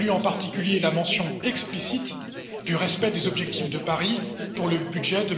Je salue en particulier la mention explicite du respect des objectifs de Paris pour le budget